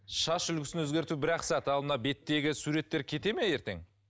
шаш үлгісін өзгерту бір ақ сағат ал мына беттегі суреттер кете ме ертең